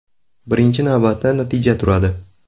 Birinchi navbatda natija turadi.